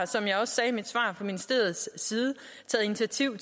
som jeg også sagde i mit svar har fra ministeriets side taget initiativ